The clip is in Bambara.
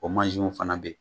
O mansinw fana bɛ yen